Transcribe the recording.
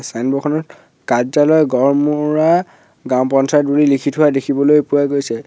Signboard খনত কাৰ্য্যালয় গড়মুৰা গাঁও পঞ্চায়ত বুলি লিখি থোৱা দেখিবলৈ পোৱা গৈছে।